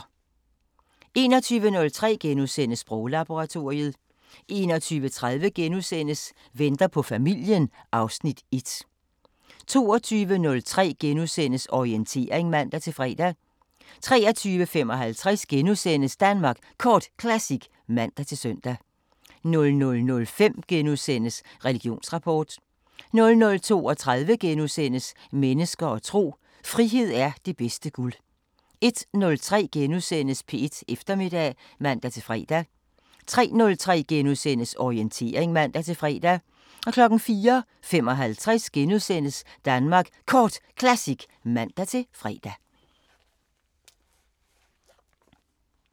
21:03: Sproglaboratoriet * 21:30: Venter på familien (Afs. 1)* 22:03: Orientering *(man-fre) 23:55: Danmark Kort Classic *(man-søn) 00:05: Religionsrapport * 00:32: Mennesker og tro: Frihed er det bedste guld * 01:03: P1 Eftermiddag *(man-fre) 03:03: Orientering *(man-fre) 04:55: Danmark Kort Classic *(man-fre)